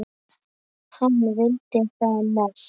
Hann vildi það mest.